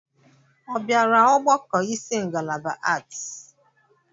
Ọ bịara ọgbakọ isi ngalaba Aarts.